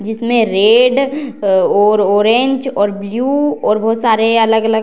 जिसमें रेड और ऑरेंज और ब्लू और बहुत सारे अलग-अलग --